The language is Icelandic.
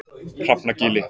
Hrafnagili